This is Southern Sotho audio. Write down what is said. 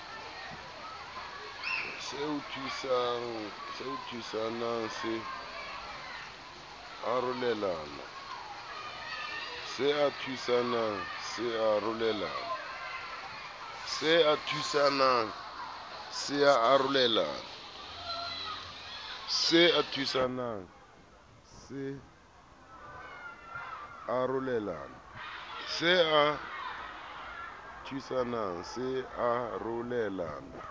se a thusana se arolelana